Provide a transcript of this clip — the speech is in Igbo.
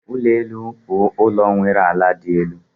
Ulo elu bụ ụlọ nwere ala dị elu